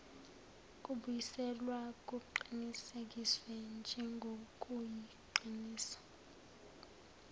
kubuyiselwa kuqinisekiswe njengokuyiqiniso